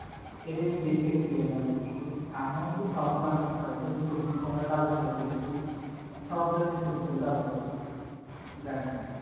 এইটা নিয়া বেশি একটু ইয়া করছে। আর নয় কিন্তু সবগুলা আমরা যেমন সবজি আমরা তাজা পাইতেছি, সব ধরণের সবজি আমরা তাজা পাইতেছি গ্রামের মধ্যে